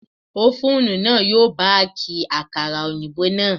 Ófúnù náà yóò Báàkì àkàrà òyìnbó náà.